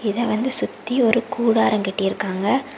இத வந்து சுத்தி ஒரு கூடாரம் கட்டி இருக்காங்க.